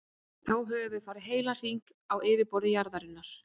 Þá höfum við farið heilan hring á yfirborði jarðarinnar.